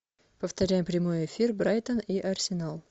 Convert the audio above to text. повторяй прямой эфир брайтон и арсенал